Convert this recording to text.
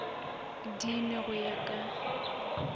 di nwe go ya ka